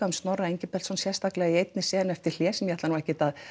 um Snorra Engilbertsson sérstaklega í einni senu eftir hlé sem ég ætla nú ekkert að